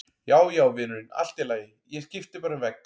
Já, já, vinurinn, allt í lagi, ég skipti bara um vegg.